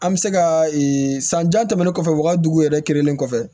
An bɛ se ka sanja tɛmɛnen kɔfɛ wa dugu yɛrɛ kelen kɔfɛ